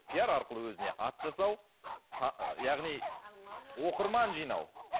пиар арқылы өзіне ат жасау яғни оқырман жинау